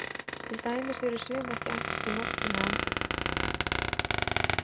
Til dæmis eru sum ekki ætluð til notkunar á andlit.